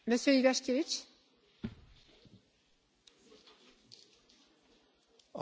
Regulacji jest oczywiście za dużo, z każdą chwilą tracimy naszą wolność.